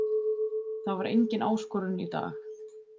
Það var engin áskorun í dag.